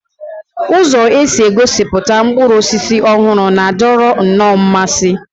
Ụzọ e si egosipụta mkpụrụ osisi ọhụrụ na-adọrọ nnọọ mmasị